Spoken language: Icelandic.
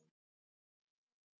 Undur og stórmerki.